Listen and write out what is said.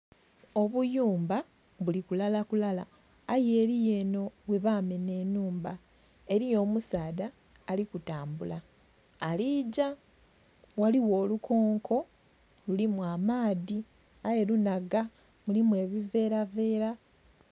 Obuyumba buli kulala kulala aye eriyo enho ghe bamenha einhuma eriyo omusaadha ali kutambula aligya ghaligho olukonko lulimi amaadhi aye lunhaga mulimu ebiveera veera.